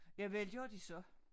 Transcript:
Ja vel gør de så